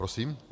Prosím?